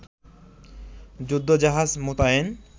যুদ্ধজাহাজ মোতায়েন